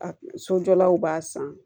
A sojɔlaw b'a san